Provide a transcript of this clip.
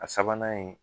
A sabanan ye